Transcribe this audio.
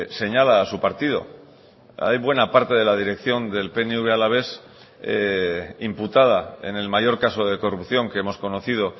señala a su partido hay buena parte de la dirección del pnv alavés imputada en el mayor caso de corrupción que hemos conocido